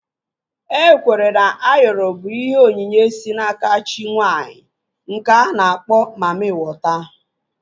E kweere na Ayoro bụ ihe onyinye si n'aka chi nwaanyị nke a na-akpọ mammị wọta